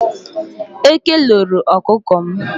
Eke loro okuko m.